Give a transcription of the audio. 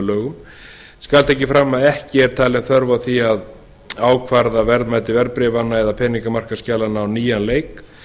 lögum skal tekið fram að ekki er talin þörf á því að ákvarða verðmæti verðbréfanna eða peningamarkaðsskjalanna á nýjan leik